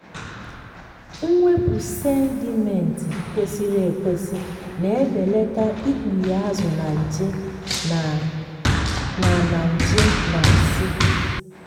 mwepụ sedimenti kwesịrị ekwesị na-ebelata ikpughe azụ na nje na na nje na nsị.